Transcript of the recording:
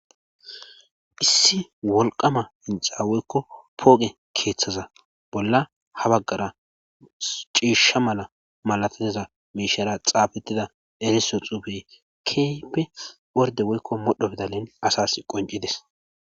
issi wolqama hinxa woykko pooge keeththaza bolla ha baggara ciishsha mala malatiteza meishara xaabettida eriso xuufey keyppe worde woykko modho bdalen asas qoncides